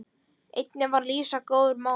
Einnig var Lísa góður málari.